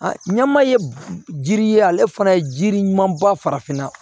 A ɲama ye jiri ye ale fana ye jiri ɲuman ba farafinna